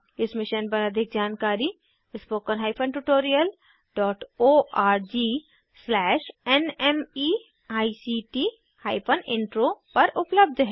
इस मिशन पर अधिक जानकारी spoken tutorialorgnmeict इंट्रो पर उपलब्ध है